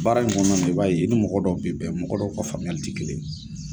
Baara in kɔnɔna i b'a ye i ni mɔgɔ dɔw bɛ bɛn mɔgɔ dɔw ka faamuyali ti kelen.